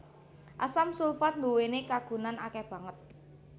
Asam sulfat nduwèni kagunan akèh banget